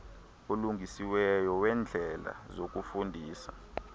olungisiweyo weendlela zokufundisa